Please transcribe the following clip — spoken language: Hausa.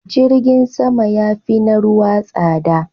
Jirgin sama ya fi na ruwa tsada.